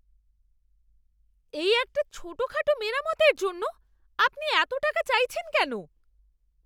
এই একটা ছোটখাটো মেরামতের জন্য আপনি এত টাকা চাইছেন কেন?